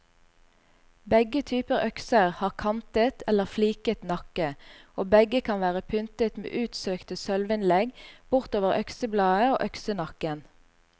Begge typer økser har kantet eller fliket nakke, og begge kan være pyntet med utsøkte sølvinnlegg bortover øksebladet og øksenakken.